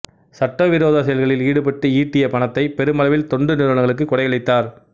சட்ட விரோத செயல்களில் ஈடுபட்டு ஈட்டிய பணத்தை பெருமளவில் தொண்டு நிறுவனங்களுக்கு கொடை அளித்தார்